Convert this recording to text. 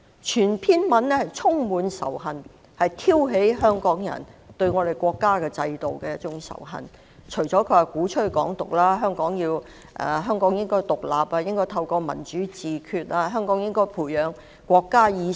全篇演辭充滿仇恨，旨在挑起香港人對國家制度的仇恨，他鼓吹"港獨"，說香港應該獨立，民主自決，培養國家意識。